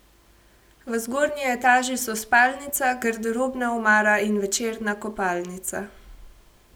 V zgornji etaži so spalnica, garderobna omara in večerna kopalnica.